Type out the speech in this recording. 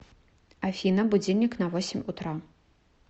афина будильник на восемь утра